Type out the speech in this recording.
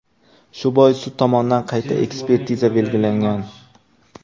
Shu bois sud tomonidan qayta ekspertiza belgilangan.